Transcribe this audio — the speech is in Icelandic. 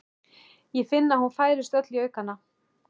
Ég finn að hún færist öll í aukana.